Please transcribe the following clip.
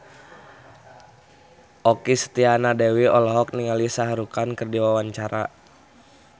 Okky Setiana Dewi olohok ningali Shah Rukh Khan keur diwawancara